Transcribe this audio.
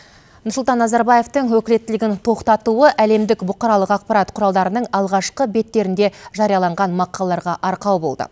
нұрсұлтан назарбаевтың өкілеттілігін тоқтатуы әлемдік бұқаралық ақпарат құралдарының алғашқы беттерінде жарияланған мақалаларға арқау болды